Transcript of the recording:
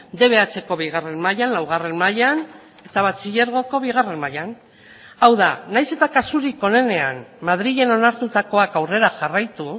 dbhko bigarren mailan laugarren mailan eta batxilergoko bigarren mailan hau da nahiz eta kasurik onenean madrilen onartutakoak aurrera jarraitu